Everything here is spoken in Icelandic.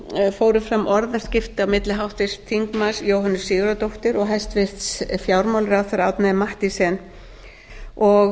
fóru fram orðaskipti á milli háttvirts þingmanns jóhönnu sigurðardóttur og hæstvirtur fjármálaráðherra árna m mathiesen og